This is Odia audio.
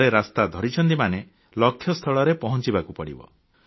ଥରେ ରାସ୍ତା ଧରିଛନ୍ତି ମାନେ ଲକ୍ଷ୍ୟସ୍ଥଳରେ ପହଂଚିବାକୁ ପଡ଼ିବ